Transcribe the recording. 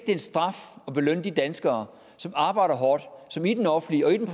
en straf at belønne de danskere som arbejder hårdt som i den offentlige og i den